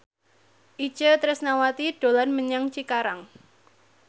Itje Tresnawati dolan menyang Cikarang